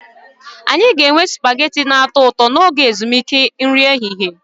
Anyị ga-enwe supagetii na-atọ ụtọ n'oge ezumike nri ehihie